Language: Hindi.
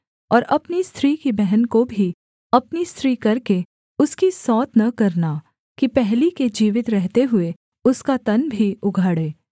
और अपनी स्त्री की बहन को भी अपनी स्त्री करके उसकी सौत न करना कि पहली के जीवित रहते हुए उसका तन भी उघाड़े